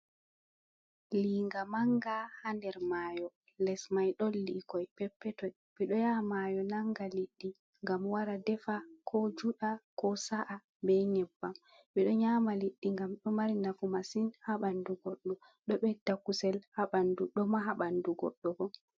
Liinga manga haa nder mayo, les mai ɗon liikoi peppetoi. Ɓeɗo yaha maayo nanga liɗɗi gam wara defa ko juɗa ko sa’a be nyebbam, ɓe ɗo nyama liɗɗi ngam ɗo mari nafu masin haa ɓandu goddo, ɗo ɓedda kusel haa bandu, do maha ɓandu goɗɗo bo.